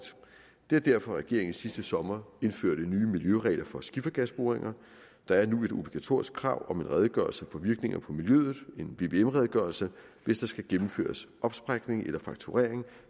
det var derfor regeringen sidste sommer indførte nye miljøregler for skifergasboringer der er nu et obligatorisk krav om en redegørelse for virkninger på miljøet en vvm redegørelse hvis der skal gennemføres opsprækning eller frakturering